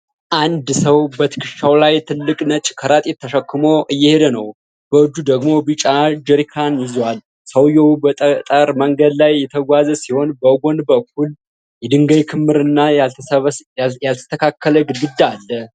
አንድ ሰው በትከሻው ላይ ትልቅ ነጭ ከረጢት ተሸክሞ እየሄደ ነው። በእጁ ደግሞ ቢጫ ጀሪካን ይዟል። ሰውዬው በጠጠር መንገድ ላይ እየተጓዘ ሲሆን፣ በጎን በኩል የድንጋይ ክምር እና ያልተስተካከለ ግድግዳ አለ።